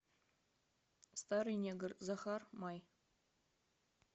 старый негр захар май